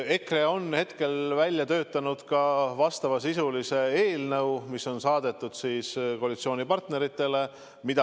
EKRE on välja töötanud ka vastavasisulise eelnõu, mis on saadetud koalitsioonipartneritele.